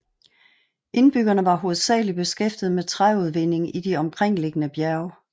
Indbyggerne var hovedsagelig beskæftiget med træudvinding i de omkringliggende bjerge